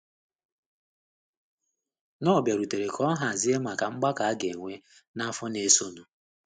Knorr bịarutere ka ọ hazie maka mgbakọ a ga - enwe n’afọ na - esonụ.